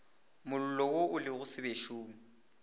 mollo wo o lego sebešong